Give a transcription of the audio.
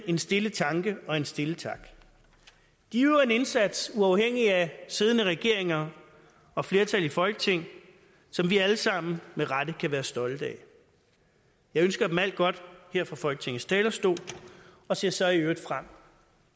en stille tanke og en stille tak de udøver en indsats uafhængig af siddende regeringer og flertal i folketinget som vi alle sammen med rette kan være stolte af jeg ønsker dem alt godt her fra folketingets talerstol og ser så i øvrigt frem